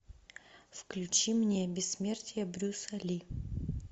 включи мне бессмертие брюса ли